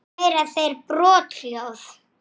Andlát þitt bar brátt að.